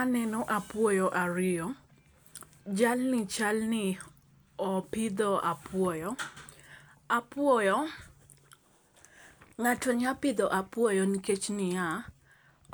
Aneno apuoyo ariyo. Jal ni chal ni opidho apuoyo apuoyo. Ng'ato nya pidho apuoyo nikech niya